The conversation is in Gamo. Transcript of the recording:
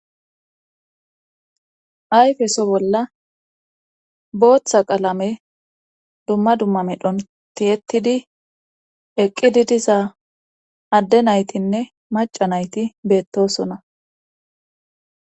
ayfeso bolla booththa qalame dumma dumma medhon tiyettidi eqqidi diza adde naytinne maca nayti beettosona